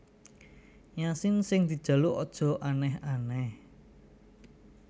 Ya sing dijaluk aja aneh aneh